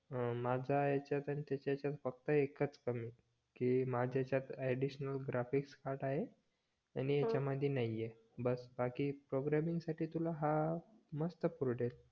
माझ्या याच्यात आणि त्याच्या याच्यात फक्त एकच कमी कि माझ्या याच्यात अडिशनल ग्राफिक्स कार्ड आहे आणि याच्या मध्ये नाही आहे बस बाकी प्रोग्रामिंगसाठी हा तुला हा मस्त परवडेल